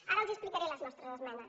ara els explicaré les nostres esmenes